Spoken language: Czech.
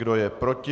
Kdo je proti?